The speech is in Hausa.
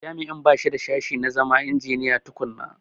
Jami'in ba shi da sashi na zama injiniya tukunna.